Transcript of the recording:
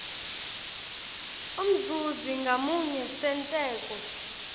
umzuzi ngamunye senteko